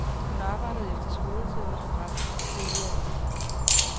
Hun arbejdede efter skoletid hos forretningens tidligere indehaver.